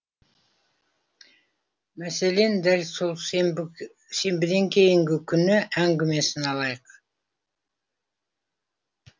мәселен дәл сол сенбіден кейінгі күні әңгімесін алайық